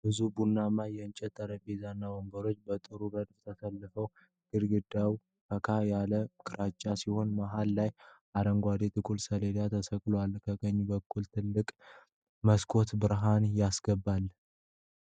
ብዙ ቡናማ የእንጨት ጠረጴዛዎች እና ወንበሮች በጥሩ ረድፍ ተሰልፈዋል። ግድግዳው ፈካ ያለ ግራጫ ሲሆን፣ መሃል ላይ አረንጓዴ የጥቁር ሰሌዳ ተሰቅሏል። ከቀኝ በኩል ትልቅ መስኮት ብርሃን ያስገባል።